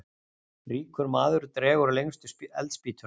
Ríkur maður dregur lengstu eldspýtuna.